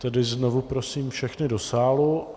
Tedy znovu prosím všechny do sálu.